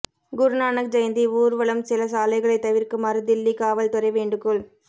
குருநானக் ஜெயந்தி ஊா்வலம்சில சாலைகளைத் தவிா்க்குமாறு தில்லி காவல் துறை வேண்டுகோள்